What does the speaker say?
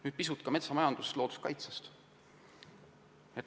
Nüüd pisut ka metsamajanduse looduskaitsest.